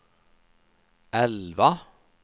elva